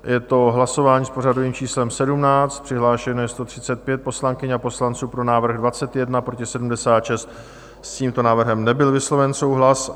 Je to hlasování s pořadovým číslem 17, přihlášeno je 135 poslankyň a poslanců, pro návrh 21, proti 76, s tímto návrhem nebyl vysloven souhlas.